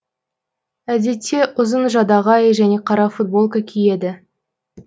әдетте ұзын жадағай және қара футболка киеді